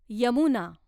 Yamuna